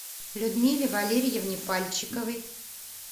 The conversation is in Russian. людмиле валерьевне пальчиковой